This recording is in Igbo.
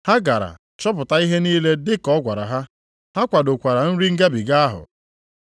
Ha gara chọpụta ihe niile dị ka ọ gwara ha. Ha kwadokwara nri Ngabiga ahụ.